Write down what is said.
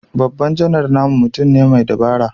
Babban Janar namu mutum ne mai dabara